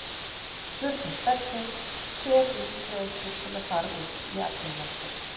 Spurning dagsins: Hver er líklegastur til að fara út í atvinnumennsku?